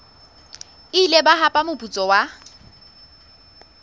ile ba hapa moputso wa